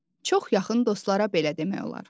Çox yaxın dostlara belə demək olar.